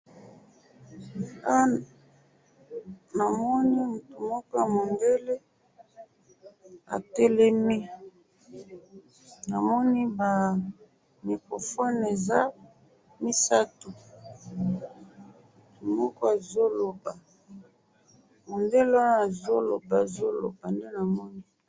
awa namoni mutu moko ya mundele atelemi, namoni ba microphones eza misatu, mutu moko azo loba, mundele wana azo loba, azo loba, nde namoni